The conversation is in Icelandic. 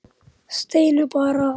Steina bar að.